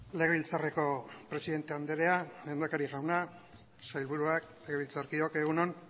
legebiltzarreko presidente andrea lehendakari jauna sailburuak legebiltzarkideok egun on